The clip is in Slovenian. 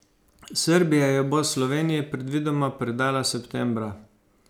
Srbija jo bo Sloveniji predvidoma predala septembra.